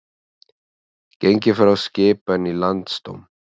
Gengið frá skipan í Landsdóm